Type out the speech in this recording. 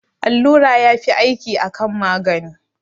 Allura yafi aiki akan magani